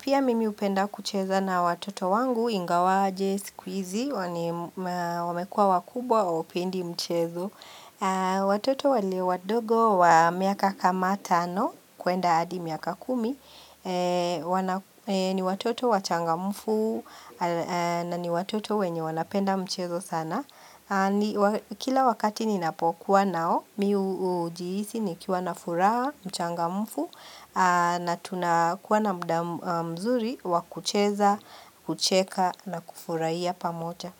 Pia mimi hupenda kucheza na watoto wangu, ingawaje, siku hizi wamekua wakubwa, hawa pendi mchezo. Watoto walio wadogo wa miaka kama tano, kuenda adi miaka kumi. Ni watoto wachangamufu na ni watoto wenye wanapenda mchezo sana Kila wakati ninapokuwa nao mimi hujihisi nikiwa na furaha mchangamufu na tunakuwa na mzuri wakucheza, kucheka na kufurahia pamoja.